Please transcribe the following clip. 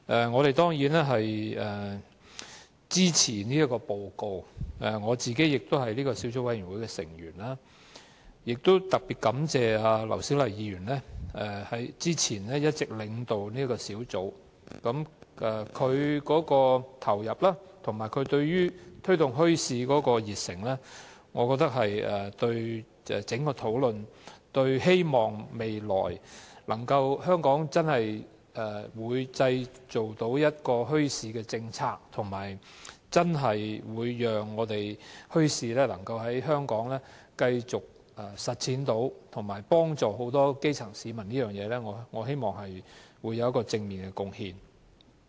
我們當然支持這份報告，我亦是這個小組委員會的成員，亦特別感謝前議員劉小麗之前一直領導這個小組委員會，我認為她的投入及對於推動墟市的熱誠，能帶動整個討論，促使香港日後制訂墟市政策，讓墟市能繼續在香港推行，並幫助很多基層市民，在這方面實在有正面的貢獻。